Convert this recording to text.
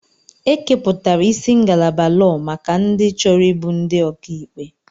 Ekepụtara isi ngalaba lọọ maka ndị chọrọ ịbụ ndị ọkà ikpe.